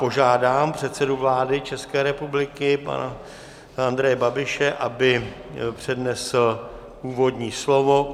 Požádám předsedu vlády České republiky pana Andreje Babiše, aby přednesl úvodní slovo.